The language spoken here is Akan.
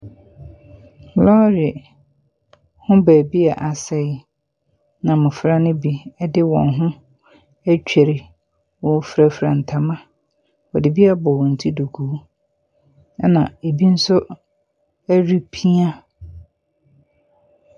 Lɔɔre ne beebi a asɛe na mmɔfra ne bi de wɔn ho atwire, wɔfurafura ntama, wɔde bi abɔ wɔn ti duku na bi nso ɛrepia.